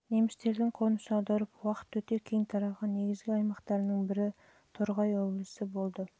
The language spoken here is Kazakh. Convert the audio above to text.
немістердің қоныс аударып уақыт өте кең тараған негізгі аймақтарының бірі торғай облысы болды